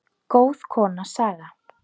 Góð kona, Saga.